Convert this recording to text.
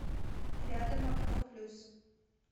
рядом окно плюс